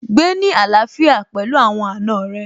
Gbé ní àlàfíà pẹ̀lú àwọn àna rẹ̀